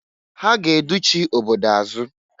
Ha ga educhi obodo azụ.